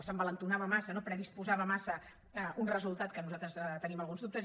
s’envalentia massa no predisposava massa un resultat de què nosaltres tenim alguns dubtes